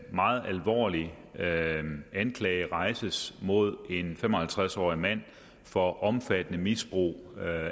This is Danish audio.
meget alvorlig anklage rejses mod en fem og halvtreds årig mand for omfattende misbrug af